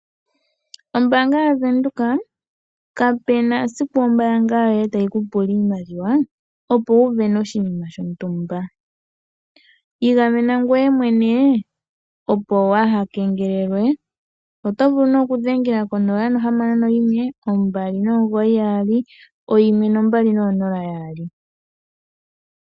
Ombaanga yaWindhoeka, kape na siku Ombaanga yoye tayi ku pula iimaliwa opo wu wene oshinima shontumba. Igamena ngwe mwene opo wa ha kengelelwe. Oto vulu ne okudhengela konola nohamano noyimwe ombali nomugoyi yaali, oyimwe nombali noonola yaali.